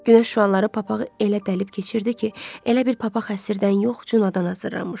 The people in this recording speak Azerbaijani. Günəş şüaları papağı elə dəlib keçirdi ki, elə bil papaq həşirdən yox, culadan hazırlanmışdı.